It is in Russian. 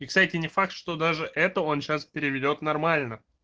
и кстати не факт что даже это он сейчас переведёт нормально